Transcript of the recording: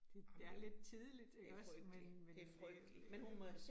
Det det er lidt tidligt ikke også, men men øh